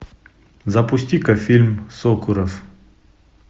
запусти ка фильм сокуров